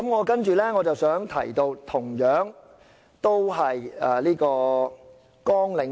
接着我想談及的同樣是綱領2。